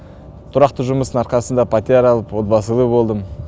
тұрақты жұмыстың арқасында пәтер алып отбасылы болдым